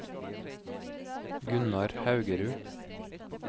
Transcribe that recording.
Gunnar Haugerud